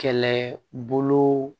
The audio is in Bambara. Kɛlɛbolo